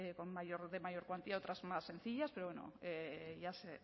con mayor de mayor cuantía otras más sencillas pero bueno